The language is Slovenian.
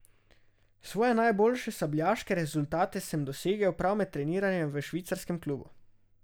Svoje najboljše sabljaške rezultate sem dosegel prav med treniranjem v švicarskem klubu.